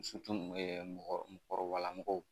ɛ mɔgɔ mɔgɔkɔrɔbalamɔgɔw.